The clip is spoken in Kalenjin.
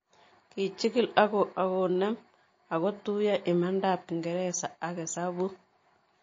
Kichig'il ako nem ako tuyo imanda ap kingereza ak hesabuk